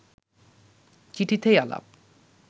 চিঠিতেই আলাপ